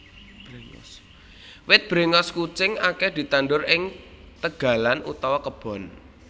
Wit bréngos kucing akèh ditandur ing tegalan utawa kebon